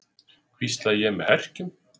hvísla ég með herkjum.